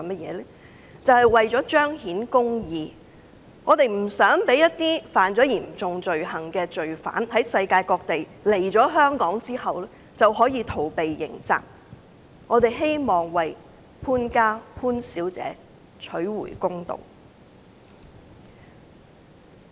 是為了彰顯公義，我們不想在世界各地干犯嚴重罪行的罪犯來香港逃避刑責，我們也希望為潘家和潘小姐討回公道。